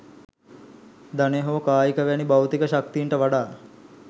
ධනය හෝ කායික වැනි භෞතික ශක්තීන්ට වඩා